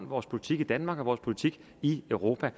vores politik i danmark og vores politik i europa